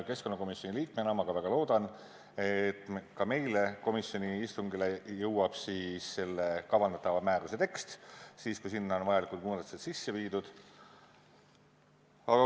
Keskkonnakomisjoni liikmena ma väga loodan, et ka meie komisjoni istungile jõuab selle kavandatava määruse tekst pärast seda, kui sinna on vajalikud muudatused tehtud.